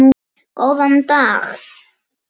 Góðan dag.